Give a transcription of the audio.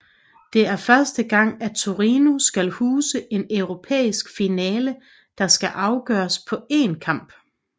Det er første gang at Torino skal huse en europæisk finale der skal afgøres på én kamp